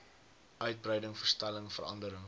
uitbreiding verstelling verandering